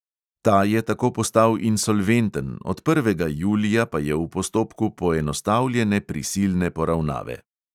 Ta je tako postal insolventen, od prvega julija pa je v postopku poenostavljene prisilne poravnave.